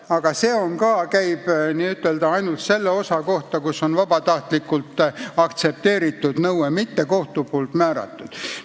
Aga see käib ainult nende juhtumite kohta, kus nõue on vabatahtlikult aktsepteeritud, mitte kohtu määratud.